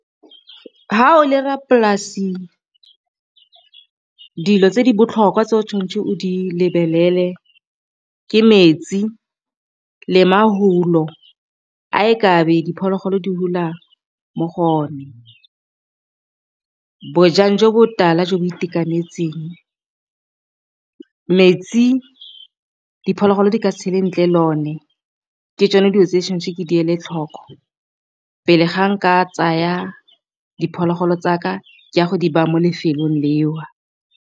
Fa o le rra polasi dilo tse di botlhokwa tse o tshwanetseng o di lebelele ke metsi, le mahulo a e kabe diphologolo di hula mo go o ne. Bojang jo bo tala jo bo itekanetseng, metsi diphologolo di ka tshele ntle le one ke tsone dijo tse tshwanetse ke di ele tlhoko pele ga nka tsaya diphologolo tsa ka ke ya go di ba mo lefelong leo.